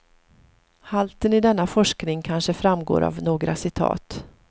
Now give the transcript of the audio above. Halten i denna forskning kanske framgår av några citat.